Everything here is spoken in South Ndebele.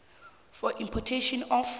for importation of